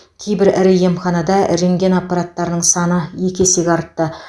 кейбір ірі емханада рентген аппараттарының саны екі есеге артты